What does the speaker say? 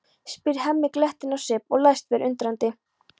spyr Hemmi glettinn á svip og læst vera undrandi.